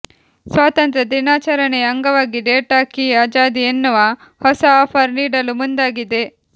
ಸ್ವಾತಂತ್ರ ದಿನಾಚರಣೆಯ ಅಂಗವಾಗಿ ಡೇಟಾ ಕಿ ಆಜಾದಿ ಎನ್ನುವ ಹೊಸ ಆಫರ್ ನೀಡಲು ಮುಂದಾಗಿದೆ